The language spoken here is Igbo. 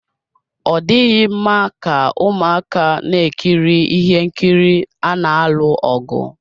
Ọ dịghị mma ka ụmụaka na-ekiri ihe nkiri ana alụ ọgụ.